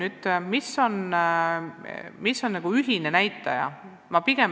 Nüüd, mis on nagu ühine näitaja?